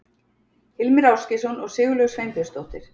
Hilmir Ásgeirsson og Sigurlaug Sveinbjörnsdóttir.